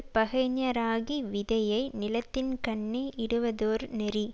பகைஞராகி விதையை நிலத்தின்கண்ணே இடுவதொர் நெறி